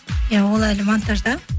иә ол әлі монтажда